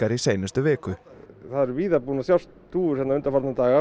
í seinustu viku það er víða búnar að sjást dúfur hérna undanfarna daga